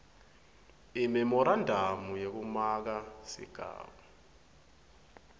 imemorandamu yekumaka sigaba